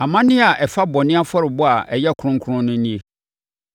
“ ‘Amanneɛ a ɛfa bɔne afɔrebɔ a ɛyɛ kronkron no nie: